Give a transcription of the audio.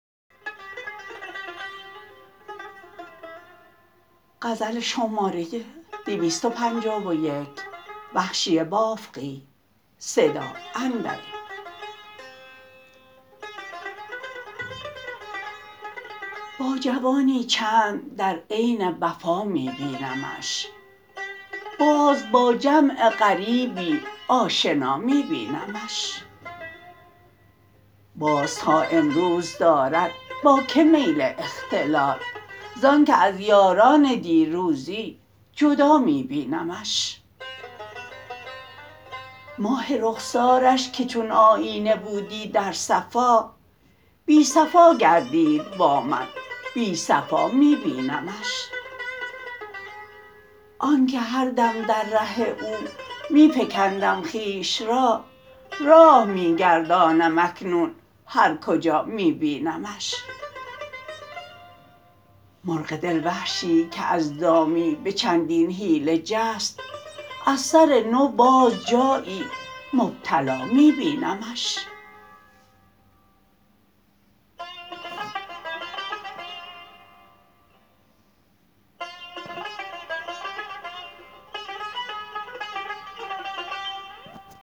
با جوانی چند در عین وفا می بینمش باز با جمع غریبی آشنا می بینمش باز تا امروز دارد با که میل اختلاط زانکه از یاران دیروزی جدا می بینمش ماه رخسارش که چون آیینه بودی در صفا بی صفا گردید با من بی صفا می بینمش آنکه هر دم در ره او می فکندم خویش را راه می گردانم اکنون هر کجا می بینمش مرغ دل وحشی که از دامی به چندین حیله جست از سرنو باز جایی مبتلا می بینمش